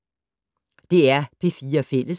DR P4 Fælles